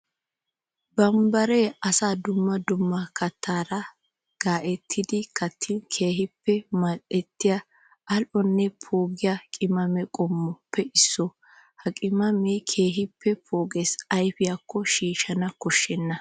Bambbare asay dumma dumma kattara gattiddi kattin keehippe mali'ettiya ali'onne poogiya qimaame qommoppe issuwa. Ha qimaame keehippe pooges ayfiyakko shiishshana koshenna.